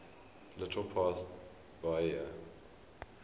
little past bahia